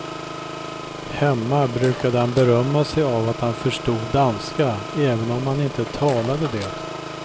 Hemma brukade han berömma sig av att han förstod danska även om han inte talade det.